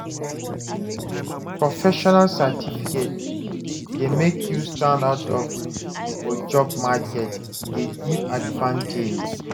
Professional certification dey make you stand out for job market, e dey give advantage.